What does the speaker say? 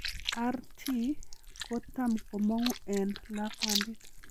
RT kotam komong'u en lakwandit.